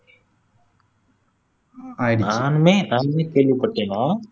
நானுமே நானுமே கேள்விப்பட்டேன்னா